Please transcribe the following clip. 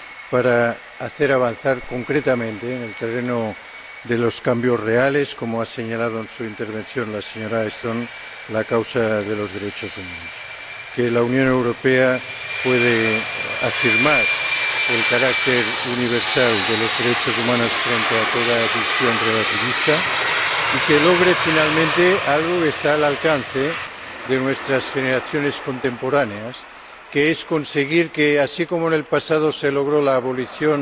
para hacer avanzar concretamente, en el terreno de los cambios reales —como ha señalado en su intervención la señora Ashton—, la causa de los derechos humanos, y también para que la Unión Europea pueda afirmar el carácter universal de los derechos humanos frente a toda visión relativista y logre, finalmente, algo que está al alcance de nuestras generaciones contemporáneas, que es conseguir que, así como en el pasado se logró la abolición